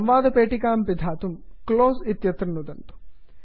संवादपेटिकां पिधानं कर्तुं क्लोज़ क्लोस् इत्यत्र नुदन्तु